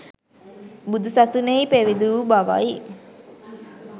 බුදු සසුනෙහි පැවිදි වූ බවයි.